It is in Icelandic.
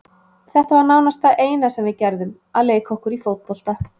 Þetta var nánast það eina sem við gerðum, að leika okkur í fótbolta.